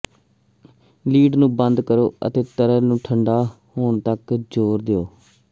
lid ਨੂੰ ਬੰਦ ਕਰੋ ਅਤੇ ਤਰਲ ਨੂੰ ਠੰਡਾ ਹੋਣ ਤੱਕ ਜ਼ੋਰ ਦਿਓ